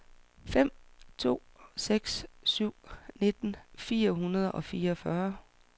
fem to seks syv nitten fire hundrede og fireogfyrre